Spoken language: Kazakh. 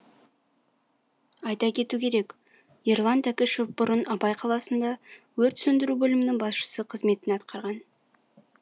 айта кету керек ерлан тәкішев бұрын абай қаласында өрт сөндіру бөлімінің басшысы қызметін атқарған